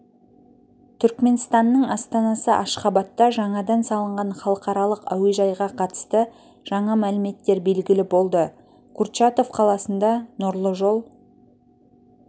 түрікменстанның астанасы ашхабадта жаңадан салынған халықаралық әуежайға қатысты жаңа мәліметтер белгілі болды курчатов қаласында нұрлы жол